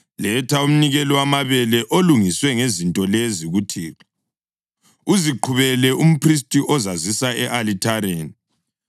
Letha umnikelo wamabele olungiswe ngezinto lezi kuThixo: uziqhubele umphristi ozazisa e-alithareni.